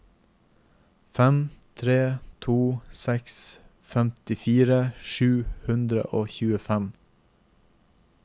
fem tre to seks femtifire sju hundre og tjuefem